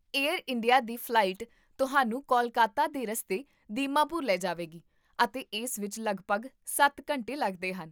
air India ਦੀ flight ਤੁਹਾਨੂੰ ਕੋਲਕਾਤਾ ਦੇ ਰਸਤੇ ਦੀਮਾਪੁਰ ਲੈ ਜਾਵੇਗੀ ਅਤੇ ਇਸ ਵਿੱਚ ਲਗਭਗ ਸੱਤ ਘੰਟੇ ਲੱਗਦੇ ਹਨ